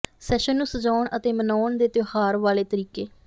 session ਨੂੰ ਸਜਾਉਣ ਅਤੇ ਮਨਾਉਣ ਦੇ ਤਿਉਹਾਰ ਵਾਲੇ ਤਰੀਕੇ